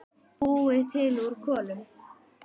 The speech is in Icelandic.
Búið til úr kolum!